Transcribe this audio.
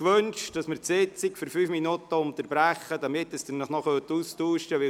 Wünschen Sie, die Sitzung für fünf Minuten zu unterbrechen, damit Sie sich noch austauschen können?